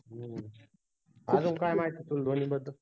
हम्म तुला धोनी बद्दल